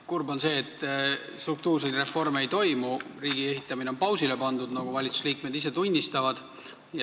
Kurb on see, et struktuurseid reforme ei toimu, riigi ehitamine on pausile pandud, nagu ka valitsusliikmed ise tunnistavad.